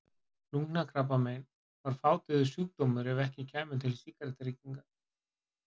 Lungnakrabbamein væri fátíður sjúkdómur ef ekki kæmu til sígarettureykingar.